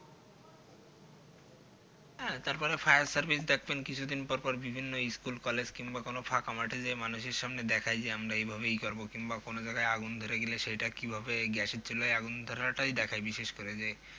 হ্যাঁ তারপর fire service দেখবেন কিছুদিন পর পর বিভিন্ন school college কিংবা কোনো ফাঁকা মাঠে গিয়ে মানুষের সামনে দেখায় যে আমরা এই ভাবে ইয়ে করবো কিংবা কোনো জায়গায় আগুন ধরে গেলে সেটা কি ভাবে gas এর চুলোয় আগুন ধরাটাই দেখায় বিশেষ করে যে